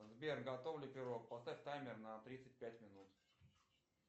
сбер готов ли пирог поставь таймер на тридцать пять минут